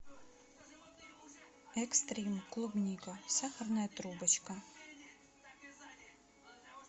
экстрим клубника сахарная трубочка